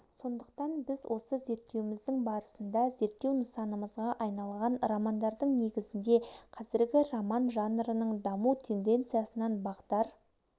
сондықтан біз осы зерттеуіміздің барысында зерттеу нысанымызға айналған романдардың негізінде қазіргі роман жанрының даму тенденциясынан бағдар